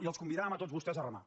i els convidàvem a tots vostès a remar